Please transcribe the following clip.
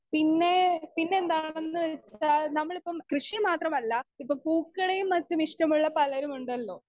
speaker 2 പിന്നെ പിന്നെന്താണെന്ന് വെച്ചാ നമ്മളിപ്പം കൃഷി മാത്രമല്ല ഇപ്പൊ പൂക്കളേം മറ്റുമിഷ്ടമുള്ള പലരുമുണ്ടല്ലോ